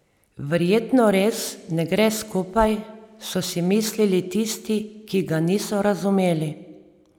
Verjetno res ne gre skupaj, so si mislili tisti, ki ga niso razumeli.